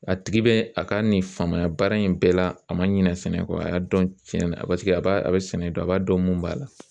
A tigi bɛ a ka nin faamuya baara in bɛɛ la a ma ɲinɛ sɛnɛ kɔ a y'a dɔn tiɲɛ na a a b'a a bɛ sɛnɛ dɔn a b'a dɔn mun b'a la